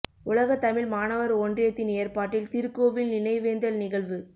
உலக தமிழ் மாணவர் ஒன்றியத்தின் ஏற்பாட்டில் திருக்கோவில் நினைவேந்தல் நிகழ்வு